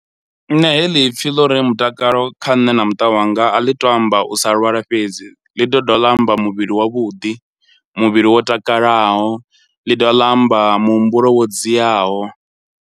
Nṋe heḽi pfhi ḽo ri mutakalo kha nṋe na muṱa wanga a ḽi to amba u sa lwala fhedzi, ḽi to dovha ḽa amba muvhili wavhuḓi, muvhili wo takalaho, ḽi dovha ḽa amba muhumbulo wo dziaho.